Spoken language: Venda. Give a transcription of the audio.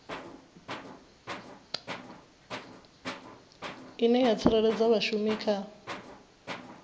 ine ya tsireledza vhashumi kha